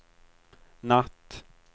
natt